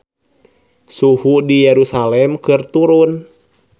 Suhu di Yerusalam keur turun